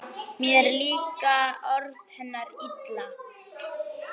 Mér líka orð hennar illa